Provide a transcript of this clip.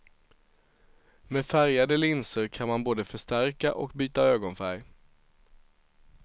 Med färgade linser kan man både förstärka och byta ögonfärg.